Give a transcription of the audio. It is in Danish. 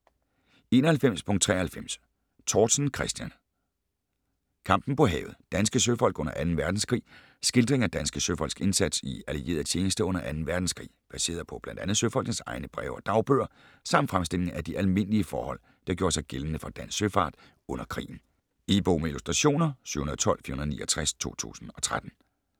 91.93 Tortzen, Christian: Kampen på havet: danske søfolk under Anden Verdenskrig Skildring af danske søfolks indsats i allieret tjenste under 2. verdenskrig, baseret på bl.a. søfolkenes egne breve og dagbøger, samt fremstilling af de almindlige forhold der gjorde sig gældende for dansk søfart under krigen. E-bog med illustrationer 712469 2013.